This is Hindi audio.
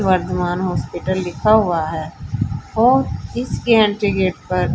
वर्धमान हॉस्पिटल लिखा हुआ है और इसके एंट्री गेट पर--